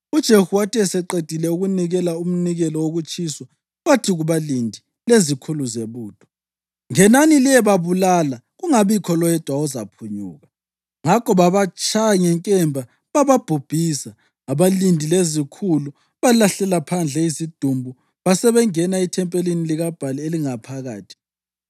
UJehu wathi eseqedile ukunikela umnikelo wokutshiswa, wathi kubalindi lezikhulu zebutho, “Ngenani liyebabulala; kungabikho loyedwa ozaphunyuka.” Ngakho babatshaya ngenkemba bababhubhisa. Abalindi lezikhulu balahlela phandle izidumbu basebengena ethempelini likaBhali elingaphakathi.